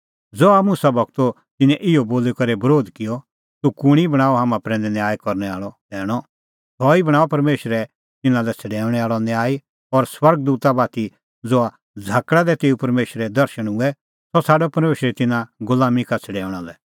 ज़हा मुसा गूरो तिन्नैं इहअ बोली करै बरोध किअ तूह कुंणी बणांअ हाम्हां प्रैंदै न्याय करनै आल़अ सैणअ सह ई बणांअ परमेशरे तिन्नां लै छ़ड़ैऊंणैं आल़अ न्यायी और स्वर्ग दूता बाती ज़हा झ़ाकल़ा दी तेऊ परमेशरे दर्शण हुऐ सह छ़ाडअ परमेशरै तिन्नां गुलामीं का छ़ड़ैऊंणा लै